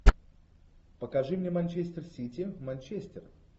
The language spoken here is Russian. покажи мне манчестер сити манчестер